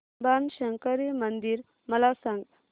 बाणशंकरी मंदिर मला सांग